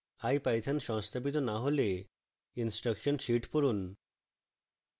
ipython সংস্থাপিত না হলে instruction sheet পড়ুন